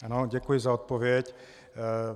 Ano, děkuji za odpověď.